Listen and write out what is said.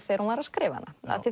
þegar hún var að skrifa hana